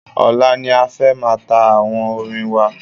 Ọ̀la ni a fẹ́ máa ta àwo orin wa.